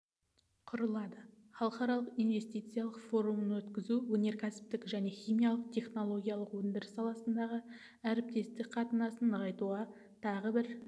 құрылады халықаралық инвестициялық форумын өткізу өнеркәсіптік және химиялық-технологиялық өндіріс саласындағы әріптестік қатынасты нығайтуға тағы бір